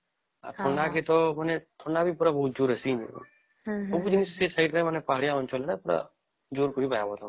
ଥଣ୍ଡା କୀଟ ଥଣ୍ଡା ଯେ ପୁରା ବହୁତ ସବୁ ସେ ପାହାଡିଆ ଅଂଚଳ ରେ ଜୋର କରି ବାହାରିବା